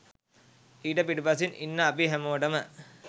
ඊට පිටුපසින් ඉන්න අපි හැමෝටම